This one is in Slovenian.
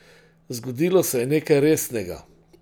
Zgodilo se je nekaj resnega.